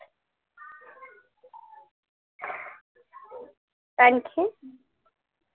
आणखी